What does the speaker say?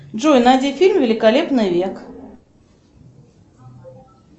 джой найди фильм великолепный век